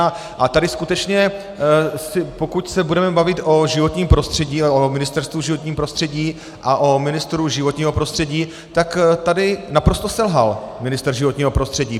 A tady skutečně, pokud se budeme bavit o životním prostředí, o Ministerstvu životního prostředí a o ministru životního prostředí, tak tady naprosto selhal ministr životního prostředí.